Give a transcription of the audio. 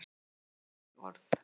Ég segi ekki orð.